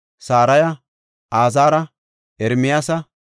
Saraya, Azaara, Ermiyaasa,